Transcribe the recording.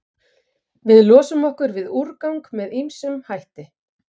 Við losum okkur við úrgang með ýmsum hætti.